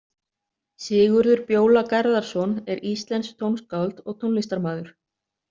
Sigurður Bjóla Garðarsson er íslenskt tónskáld og tónlistarmaður.